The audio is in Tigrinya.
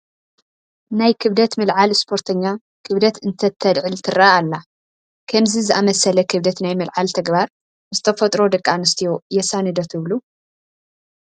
ናይ ክብደት ምልዓል ስፖርተኛ ክብደት እንትተልዕል ትርአ ኣላ፡፡ ከምዚ ዝኣምሰለ ክብደት ናይ ምልዓል ተግባር ምስ ተፈጥሮ ደቂ ኣንስትዮ የሳኒ ዶ ትብሉ?